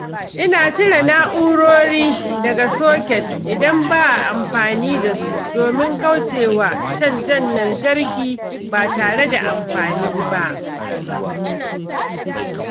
Ina cire na'urori daga soket idan ba a amfani da su domin kauce wa shan jan lantarki ba tare da amfani ba.